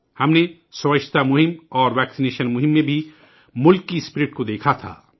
ہم نے صفائی مہم اور ٹیکہ کاری مہم میں بھی ملک کا جذبہ دیکھا تھا